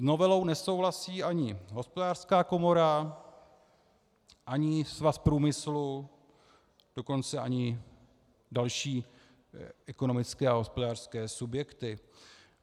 S novelou nesouhlasí ani Hospodářská komora, ani Svaz průmyslu, dokonce ani další ekonomické a hospodářské subjekty.